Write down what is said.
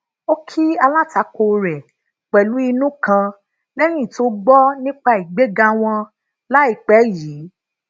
ó kí alátakò rè pelu inu kan léyìn tó gbó nípa ìgbéga wọn láìpé yìí